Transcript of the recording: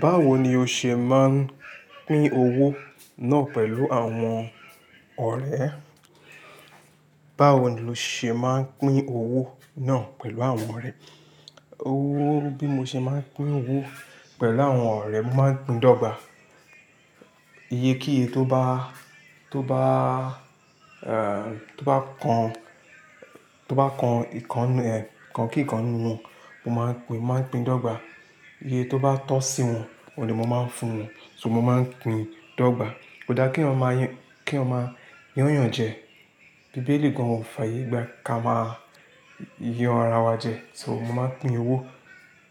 Báwo ni o ṣe máa ń pín owó náà pẹ̀lú àwọn ọ̀rẹ́? Báwo ni o ṣe máa ń pín owó náà pẹ̀lú àwọn ọ̀rẹ́? Owó, bí mo ṣe máa ń pín owó pẹ̀lú àwọn ọ̀rẹ́, mo máa ń pín dọ́gbà. Iye kí iye tó bá, tó bá, ẹ, tó bá kan, tó bá kan ìkan, ẹ, kan kí ìkan nínú wọn, mo máa pín, máa pín dọ́gbà. Iye tó bá tọ́ sí wọn ní mo máa ń fún wọn, mo máa ń pín dọ́gbà. Kò da kí eeyan máa yín, kí a máa yán yàn jẹ. Bíbélì gan an kò fàyègbà ká máa yàn ara wa jẹ. Mo máa ń pín owó